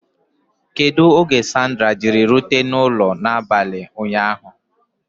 Kedu oge Sandra Jiri rute n'ụlọ n'abalị ụnyaahụ?